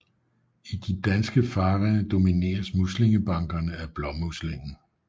I de danske farvande domineres muslingebankerne af blåmuslingen